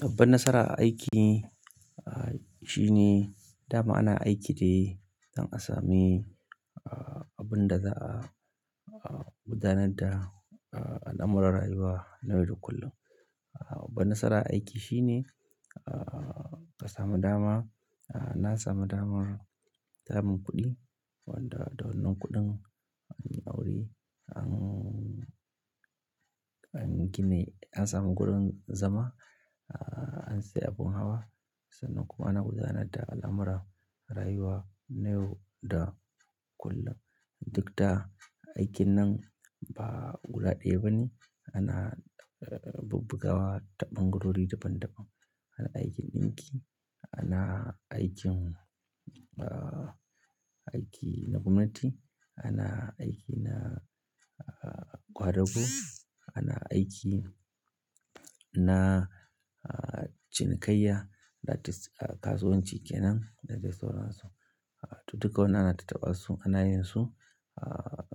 Babban nasara a aiki, ah, shine dama ana aiki de ɗan asami, ah, abin da za'a, ah, gudanar da, ah, al'amuran rayuwa na yau da kullum. Babban nasara a aiki shine, ah, ka samu dama, ah, na samu damar samun kuɗi wanda da wannan kuɗin anyi aure ang, dan gina, na samu gurin zama, ah, da abin hawa. Sannan kuma ana gudanar da al'amuran rayuwa na yau da kullum. Duk da aikin nan ba guda ɗaya bane, ana bubbugawa ta ɓangarori daban daban. Ana aikin ɗinki, ana aikin, ah, aiki na gwamnati, ana aiki na, ah, ƙwadago, ana aiki na, ah, cinikayya, that is kasuwanci kenan, dadai sauransu. Duka wannan ana tattabasu, ana yin su, ah,